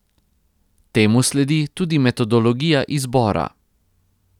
Temu sledi tudi metodologija izbora.